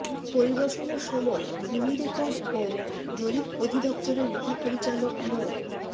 পরিদর্শনের সময় ভূমি রেকর্ড ও জরিপ অধিদফতরের মহাপরিচালক মো